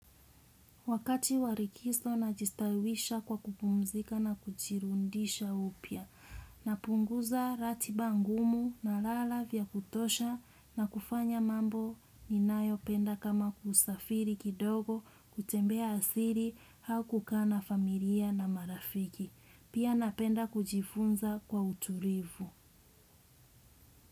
Wakati wa likizo najistawisha kwa kupumzika na kujirudisha upya. Napunguza ratiba ngumu nalala vya kutosha na kufanya mambo ninayopenda kama kusafiri kidogo kutembea asili au kukaa na familia na marafiki. Pia napenda kujifunza kwa utulivu.